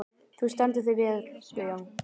Þú stendur þig vel, Guðjón!